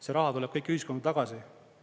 See raha tuleb kõik ühiskonda tagasi.